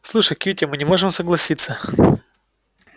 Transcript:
слушай кьюти мы не можем согласиться